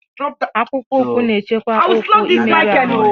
Akpụkpọụkwụ na-echekwa ụkwụ imerụ arụ ma a na-aga ije